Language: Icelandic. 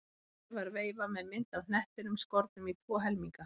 Fjær var veifa með mynd af hnettinum skornum í tvo helminga.